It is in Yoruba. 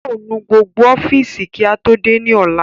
Yóò nu gbogbo ọ́fìsì kí á tó dé ní ọ̀la